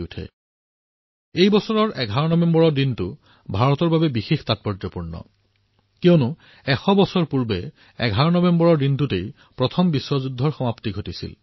ভাৰতৰ বাবে এই বৰ্ষৰ ১১ নৱেম্বৰৰ দিনটো অতিশয় গুৰুত্বপূৰ্ণ কাৰণ আজিৰ পৰা ১০০ বছৰ পূৰ্বে প্ৰথম বিশ্বযুদ্ধ সমাপ্ত হৈছিল